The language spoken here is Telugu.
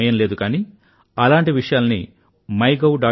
ఇవాళ సమయం లేదు కానీ అలాంటి విషయాలను మై గౌ